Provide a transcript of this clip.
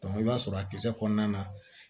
i b'a sɔrɔ a kisɛ kɔnɔna na